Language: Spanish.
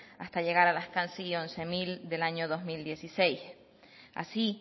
hasta llegar a las casi a los once mil del año dos mil dieciséis así